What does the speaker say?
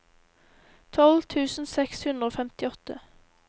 tolv tusen seks hundre og femtiåtte